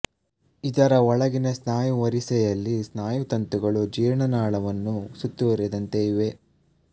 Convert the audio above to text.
ಇದರ ಒಳಗಿನ ಸ್ನಾಯು ವರಿಸೆಯಲ್ಲಿ ಸ್ನಾಯುತಂತುಗಳು ಜೀರ್ಣನಾಳವನ್ನು ಸುತ್ತುವರಿದಂತೆ ಇವೆ